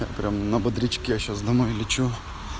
я прямо на бодрячке сейчас домой лечу